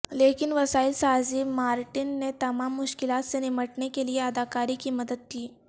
لیکن وسائل سازی مارٹن نے تمام مشکلات سے نمٹنے کے لئے اداکاری کی مدد کی